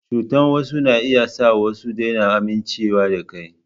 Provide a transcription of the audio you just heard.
Cuta wasu na iya sa su daina amincewa da kai.